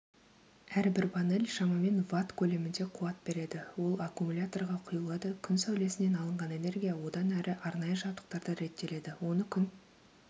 әрбір панель шамамен ватт көлемінде қуат береді ол аккумуляторға құйылады күн сәулесінен алынған энергия одан әрі арнайы жабдықтарда реттеледі оны күн